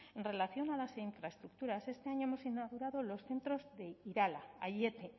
en relación a las infraestructuras este año hemos inaugurado los centros de irala aiete